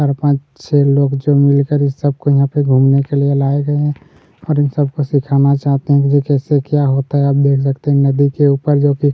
चार पांच छः लोग जो मिलकर इन सब को यहाँ पर घूमने के लिए लाए गए हैं और इन सबको सीखना चाहते है की कैसे क्या होता है आप देख सकते है नदी के ऊपर जो की --